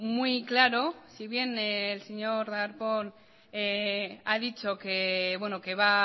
muy claro si bien el señor darpón ha dicho que va